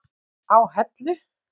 á Hellu.